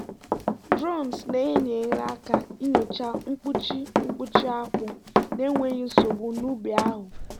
drones na-enyere aka nyochaa mkpuchi mkpuchi akpu na-enweghị nsogbu n'ubi ahụ.